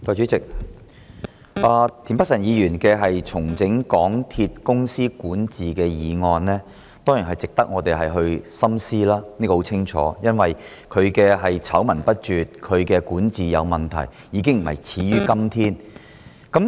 代理主席，田北辰議員動議的"重整港鐵公司管治"議案，當然值得深思，因為港鐵公司的管治明顯有問題，醜聞不絕，已非始於今天。